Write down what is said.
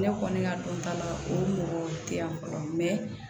Ne kɔni ka dɔn ta la o mɔgɔ tɛ yan fɔlɔ mɛ